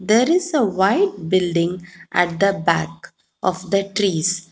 There is a white building at the back of the trees.